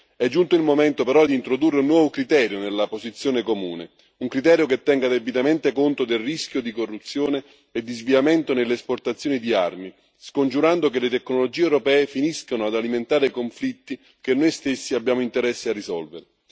È giunto il momento, però, di introdurre un nuovo criterio nella posizione comune, un criterio che tenga debitamente conto del rischio di corruzione e di sviamento nell'esportazione di armi, scongiurando che le tecnologie europee finiscano ad alimentare conflitti che noi stessi abbiamo interesse a risolvere.